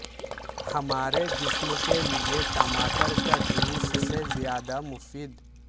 ہمارے جسم کے لئے ٹماٹر کا جوس سے زیادہ مفید